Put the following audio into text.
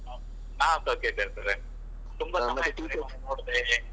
ನಾವ್ ಸೌಖ್ಯ ಇದ್ದೇವೆ sir . ತುಂಬಾ ಸಮಯ ಆಯ್ತು ನೋಡ್ದೆನೆ.